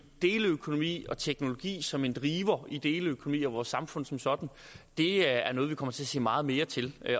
deleøkonomi og teknologi som en driver i deleøkonomi og vores samfund som sådan er noget vi kommer til at se meget mere til